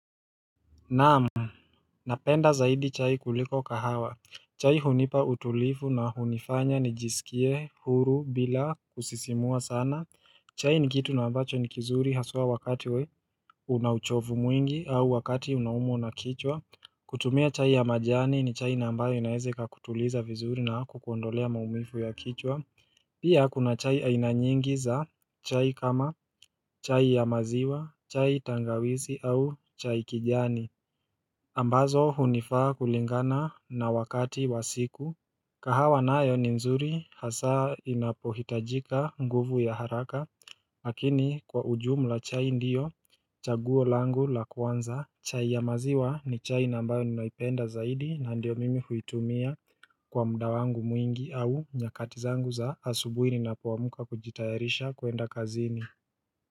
Naam, Napenda zaidi chai kuliko kahawa. Chai hunipa utulifu na hunifanya nijisikie huru bila kusisimua sana chai ni kitu na ambacho ni kizuri haswa wakati we una uchovu mwingi au wakati unaumwa na kichwa kutumia chai ya majani ni chai na ambayo inaweze ikakutuliza vizuri na kukuondolea maumivu ya kichwa Pia kuna chai aina nyingi za chai kama chai ya maziwa, chai tangawizi au chai kijani ambazo hunifaa kulingana na wakati wa siku kahawa nayo ni nzuri hasaa inapohitajika nguvu ya haraka Lakini kwa ujumla chai ndiyo chaguo langu la kwanza. Chai ya maziwa ni chai na ambawe ninaipenda zaidi na ndio mimi huitumia kwa mda wangu mwingi au nyakati zangu za asubuhi ninapoamka kujitayarisha kuenda kazini.